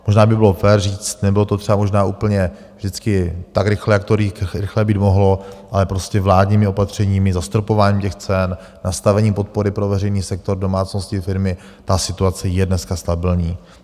Možná by bylo fér říct, nebylo to třeba možná úplně vždycky tak rychle, jak to rychle být mohlo, ale prostě vládními opatřeními, zastropováním těch cen, nastavením podpory pro veřejný sektor, domácnosti, firmy, ta situace je dneska stabilní.